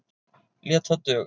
Lét það duga.